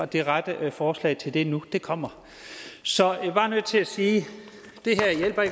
det rette forslag til det nu det kommer så jeg er bare nødt til at sige